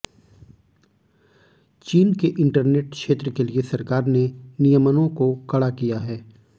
चीन के इंटरनेट क्षेत्र के लिए सरकार ने नियमनों को कड़ा किया है